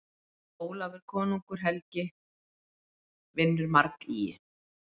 Ólafur konungur helgi vinnur margýgi.